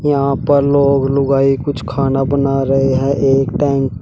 यहां पर लोग लुगाई कुछ खाना बना रहे है एक टाइम --